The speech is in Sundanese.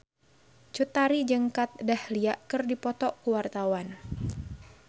Cut Tari jeung Kat Dahlia keur dipoto ku wartawan